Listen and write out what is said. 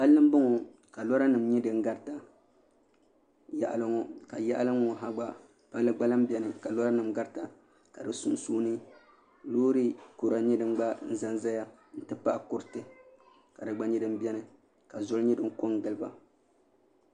Palli n bɔŋɔ ka lora nim nyɛ din garita yaɣali ŋɔ ka yaɣali n ŋɔ palli gba lahi biɛni ka lora nim garita ka di sunsuuni loori kura nyɛ din gba ʒɛya n ti pahi kuriti ka di gba nyɛ din biɛni ka zoli nyɛ din ko n giliba